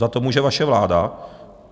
Za to může vaše vláda.